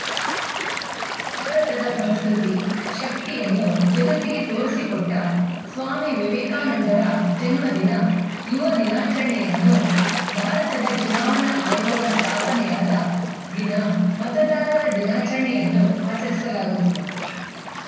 ಭಾರತದ ಸಂಸ್ಕೃತಿ ಶಕ್ತಿಯನ್ನು ಜಗತ್ತಿಗೆ ತೋರಿಸಿಕೊಟ್ಟಸ್ವಾಮಿ ವಿವೇಕಾನಂದರ ಜನ್ಮದಿನ ಯುವ ದಿನಾಚರಣೆಯನ್ನೂ ಭಾರತದ ಚುನಾವಣಾ ಆಯೋಗ ಸ್ಥಾಪನೆಯಾದ ದಿನ ಮತದಾರರ ದಿನಾಚರಣೆಯನ್ನೂ ಆಚರಿಸಲಾಗುತ್ತಿದೆ